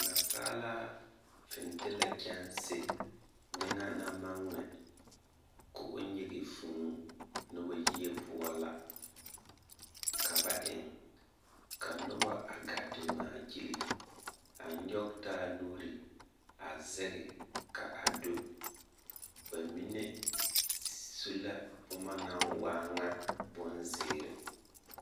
Nansaalaa fintilԑ kyԑnse ŋmenaa naŋ maŋ ŋmԑ ka nyege vũũ noba yie poͻ la ka bae ŋ ka noba a gaa te ŋmaa gyili, a nyͻge taa nuuri a zeŋԑ kaa do. Ba mine su la boma naŋ waa ŋa bonzeere.